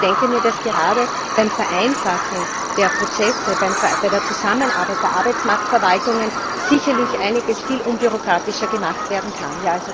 Ich denke, dass gerade beim Vereinfachen der Prozesse, bei der Zusammenarbeit der Arbeitsmarktverwaltungen, sicherlich einiges viel unbürokratischer gemacht werden kann.